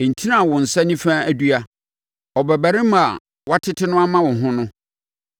ntini a wo nsa nifa adua no, ɔbabarima a woatete no ama wo ho no.